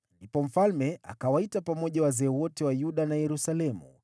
Kisha mfalme akawaita pamoja wazee wote wa Yuda na Yerusalemu.